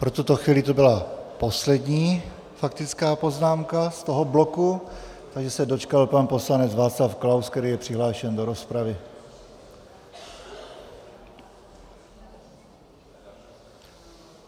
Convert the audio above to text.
Pro tuto chvíli to byla poslední faktická poznámka z tohoto bloku, takže se dočkal pan poslanec Václav Klaus, který je přihlášen do rozpravy.